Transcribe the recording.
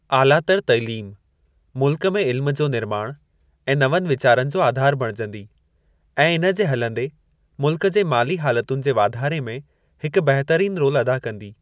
आलातर तइलीम मुल्क में इल्म जो निर्माण ऐं नवनि वीचारनि जो आधार बणिजंदी ऐं इन जे हलंदे मुल्क जे माली हालतुनि जे वाधारे में हिकु बहितरीन रोल अदा कंदी।